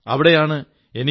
അവിടെയാണ് എനിക്ക് ഡോ